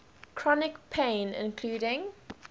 chronic pain including